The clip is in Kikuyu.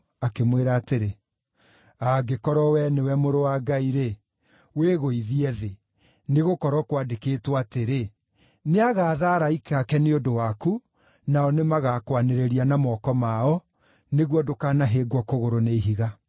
akĩmwĩra atĩrĩ, “Angĩkorwo wee nĩwe Mũrũ wa Ngai-rĩ, wĩgũithie thĩ. Nĩgũkorwo kwandĩkĩtwo atĩrĩ: “ ‘Nĩagaatha araika ake nĩ ũndũ waku, nao nĩmagakwanĩrĩria na moko mao, nĩguo ndũkanahĩngwo kũgũrũ nĩ ihiga.’ ”